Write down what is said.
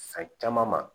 San caman ma